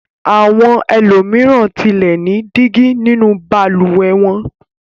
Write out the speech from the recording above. Àwọn ẹlòmíràn tilẹ̀ ní dígí nínú balùwẹ̀ wọn.